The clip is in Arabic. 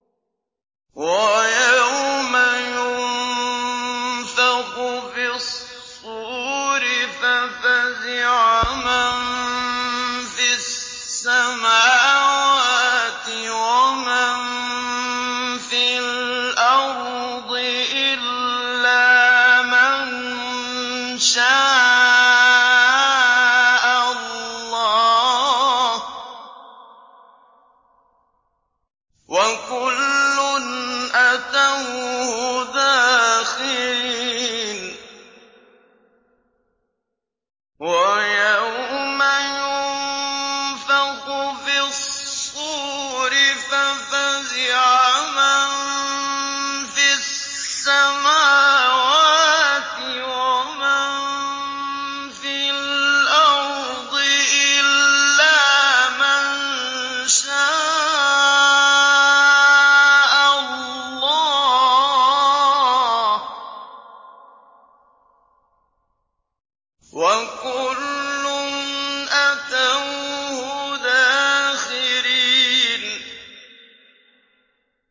وَيَوْمَ يُنفَخُ فِي الصُّورِ فَفَزِعَ مَن فِي السَّمَاوَاتِ وَمَن فِي الْأَرْضِ إِلَّا مَن شَاءَ اللَّهُ ۚ وَكُلٌّ أَتَوْهُ دَاخِرِينَ